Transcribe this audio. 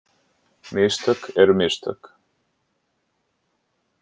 Mistök eru mistök.